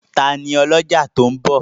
Tani ọlọ́jà tó ń bọ̀?